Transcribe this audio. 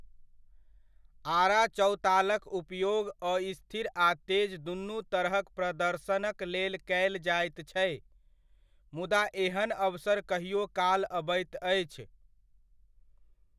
आड़ाचौतालक उपयोग अस्थिर आ तेज दुनू तरहक प्रदर्शनक लेल कयल जाइत छै, मुदा एहन अवसर कहिओ काल अबैत अछि।